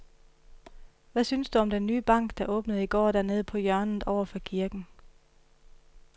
Hvad synes du om den nye bank, der åbnede i går dernede på hjørnet over for kirken?